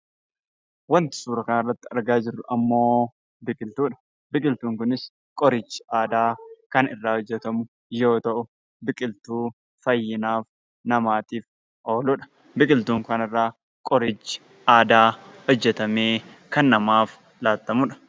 Wanti suuraa kana irratti argaa jirru immoo biqiltuudha. Biqiltuun kunis qorichi aadaa kan irraa hojjetamu yoo ta'u, biqiltuu fayyina namaatiif ooluudha. Biqiltuu kana irraa qorichi aadaa hojjetamee kan namaaf laatamuudha.